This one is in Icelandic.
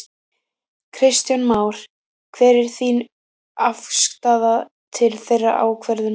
Kristján Már: Hver er þín afstaða til þeirrar ákvörðunar?